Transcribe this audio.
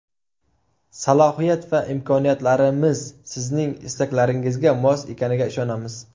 Salohiyat va imkoniyatlarimiz Sizning istaklaringizga mos ekaniga ishonamiz.